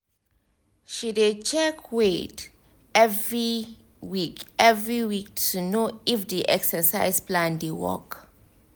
she dey check weight every week every week to know if the exercise plan dey work